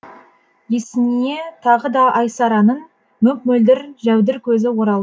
есіне тағы да айсараның мөп мөлдір жәудір көзі орал